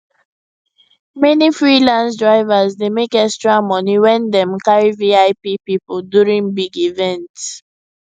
many freelance drivers dey make extra money when dem carry vip people during big events